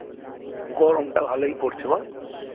গরমটা ভালোই পড়ছে বল?